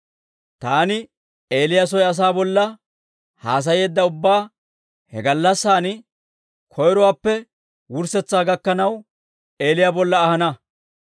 Taani Eeliya soy asaa bolla haasayeedda ubbabaa he gallassan koyruwaappe wurssetsaa gakkanaw Eeliyaa bolla ahana.